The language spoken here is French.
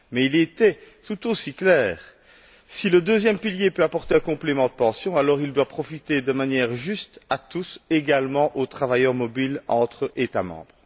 Mais il est tout aussi clair que si le deuxième pilier peut apporter un complément de pension, alors il doit profiter de manière juste à tous, également aux travailleurs mobiles entre États membres.